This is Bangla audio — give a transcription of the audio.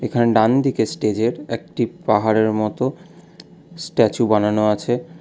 এখানে ডানদিকে স্টেজের একটি পাহাড়ের মত স্ট্যাচু বানানো আছে।